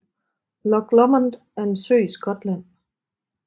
Loch Lomond er en sø i Skotland